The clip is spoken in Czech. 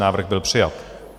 Návrh byl přijat.